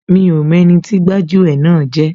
Mi ò mọ ẹni tí gbájú ẹ̀ náà jẹ́